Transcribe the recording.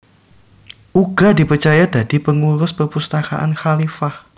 Uga dipercaya dadi pengurus perpustakaan khalifah